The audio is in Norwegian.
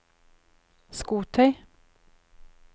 skotøy